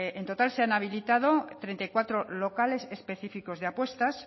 en total se han habilitado treinta y cuatro locales específicos de apuestas